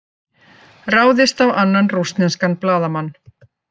Ráðist á annan rússneskan blaðamann